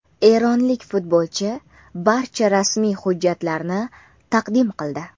Eronlik futbolchi barcha rasmiy hujjatlarni taqdim qildi.